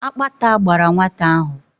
Akpata gbàrà nwata ahụ